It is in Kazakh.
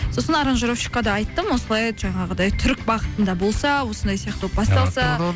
сосын аранжировщикке де айттым осылай жаңағыдай түрік бағытында болса осындай сияқты болып басталса